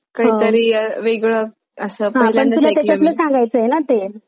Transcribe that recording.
shower पण खूब दिवसचा चाललेली जात होती जात कि कोहणीतरी एक अह चुकीचा पद जिने तिचे बदनाम करा अह बदनामी कार्नायेचे कामा